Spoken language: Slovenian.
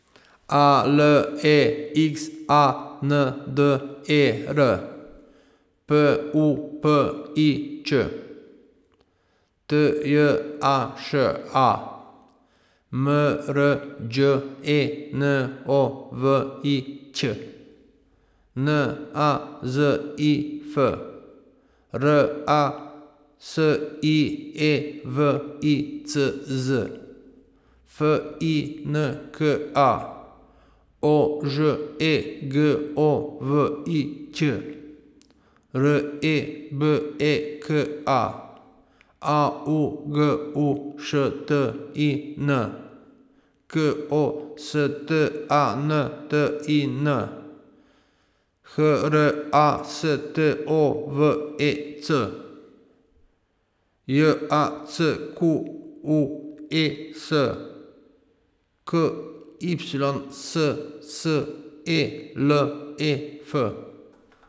A L E X A N D E R, P U P I Č; T J A Š A, M R Đ E N O V I Ć; N A Z I F, R A S I E W I C Z; F I N K A, O Ž E G O V I Ć; R E B E K A, A U G U Š T I N; K O S T A N T I N, H R A S T O V E C; J A C Q U E S, K Y S S E L E F.